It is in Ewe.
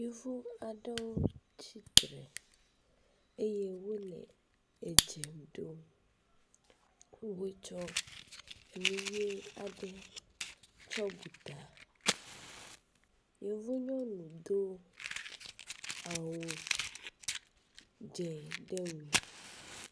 Yevu aɖewo tsitre eye wole edze ɖom wotsɔ enu ʋe aɖe tsɔ bu ta. Yevu nyɔnu do awu dzɛ̃ ɖe wu me.